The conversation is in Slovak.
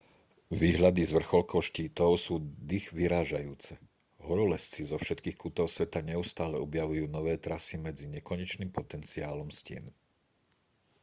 výhľady z vrcholkov štítov sú dychvyrážajúce horolezci zo všetkých kútov sveta neustále objavujú nové trasy medzi nekonečným potenciálom stien